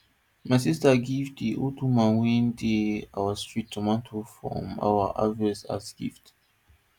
my sister give the old woman wey dey our street tomato from our harvest as gift